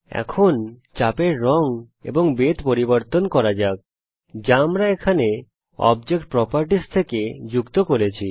এখন চাপের রঙ এবং বেধ পরিবর্তন করা যাক যা আমরা এখানে বস্তুর বৈশিষ্ট্যাবলী থেকে যুক্ত করেছি